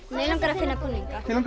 mig langar að finna búninga þig langar